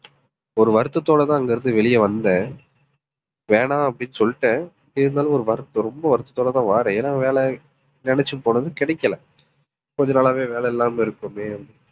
ஒரு வருத்தத்தோடதான் அங்க இருந்து வெளிய வந்தேன். வேணாம் அப்படின்னு சொல்லிட்டேன். இருந்தாலும் ஒரு வருத்தம் ரொம்ப வருத்தத்தோடதான் வாறேன். ஏன்னா வேலை நினைச்சு போனது கிடைக்கல. கொஞ்ச நாளாவே வேலை இல்லாம இருப்போமே